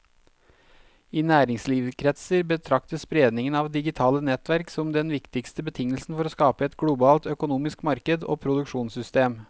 I næringslivskretser betraktes spredningen av digitale nettverk som den viktigste betingelsen for å skape et globalt økonomisk marked og produksjonssystem.